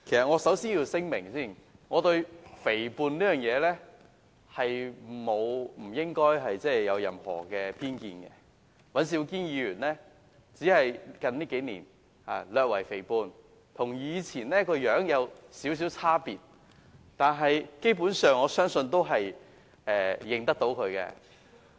我要先作聲明，我對肥胖沒有偏見，只是尹兆堅議員在這數年略為肥胖，跟以前的樣子有少許差別，但基本上，我相信大家也認得他。